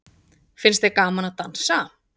Finnst þér gaman að dansa?